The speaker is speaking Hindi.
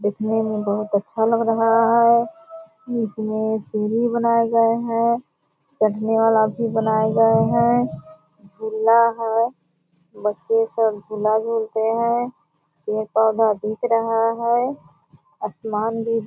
देखने में बहुत अच्छा लग रहा है इसमें सीढ़ी बनाए गए है चढ़ने वाला भी बनाए गए हैं झुला है बच्चे सब झुला झूलते हैं पेड़-पौधा दिख रहा है आसमान भी --